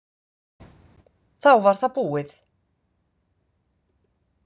Þá var það búið.